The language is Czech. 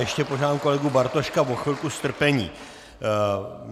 Ještě požádám kolegu Bartoška o chvilku strpení.